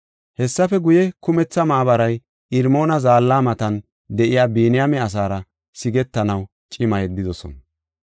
Hessafe guye, kumetha maabaray Irmoona Zaalla matan de7iya Biniyaame asaara sigetanaw cima yeddidosona.